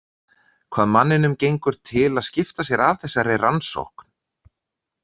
Hvað manninum gengur til að skipta sér af þessari rannsókn?